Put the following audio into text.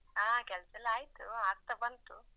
ಹಾ ಕೆಲ್ಸ ಎಲ್ಲಾ ಆಯ್ತು ಆಗ್ತಾ ಬಂತು.